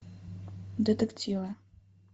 детективы